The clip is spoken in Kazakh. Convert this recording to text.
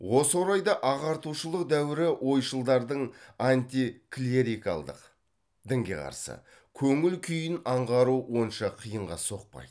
осы орайда ағартушылық дәуірі ойшылдардың антиклерикалдық көңіл күйін аңғару онша қиынға соқпайды